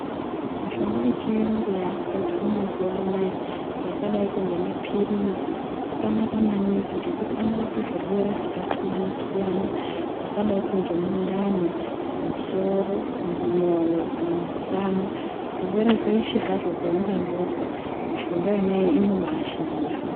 Mishonga yechiyungu yakugadzirwa mazuwa anaa yakadaiko ngemapirizi akanaka maningi ngekuti anorapa zvirwere zvakasiyana-siyana zvakadaiko ngemundani, musoro, mumwoyo kana musana zvirwere zveshe hazvo zvaungangozwa mishonga yonayo inobaashanda.